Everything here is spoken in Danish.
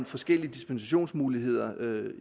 forskellige dispensationsmuligheder